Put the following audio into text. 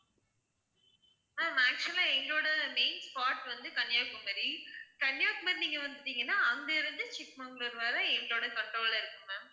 ma'am actual ஆ எங்களோட main spot வந்து கன்னியாகுமரி கன்னியாகுமரி நீங்க வந்துட்டீங்கனா அங்க இருந்து சிக்மங்களூர் வர எங்களோட control அ இருக்கும் ma'am